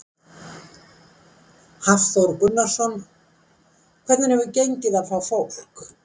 Hafþór Gunnarsson: Hvernig hefur gengið að fá fólk?